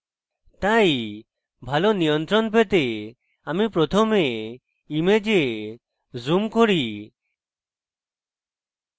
তাই ভালো নিয়ন্ত্রণ পেতে আমি প্রথমে image zoom করি